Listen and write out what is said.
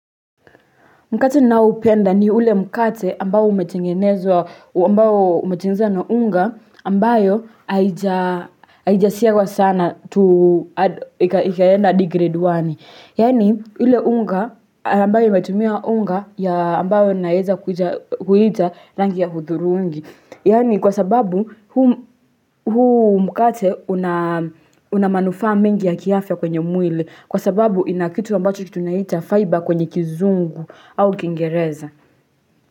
Mkate ninaoupenda ni ule mkate ambao umetengenezwa, ambao umetengenezwa na unga ambayo haijasiagwa sana to ikaenda hadi grade one. Yaani, ile unga ambayo imetumia unga ya ambayo naeza kuita rangi ya hudhurungi. Yaani, kwa sababu huu mkate una manufaa mengi ya kiafya kwenye mwili. Kwa sababu ina kitu ambacho tunaita fiber kwenye kizungu au kiingereza.